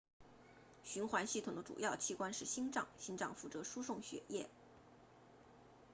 循环系统的主要器官是心脏心脏负责输送血液